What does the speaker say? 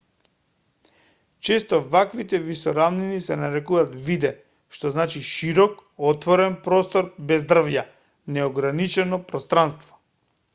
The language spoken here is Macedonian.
често ваквите висорамнини се нарекуваат виде што значи широк отворен простор без дрвја неограничено пространство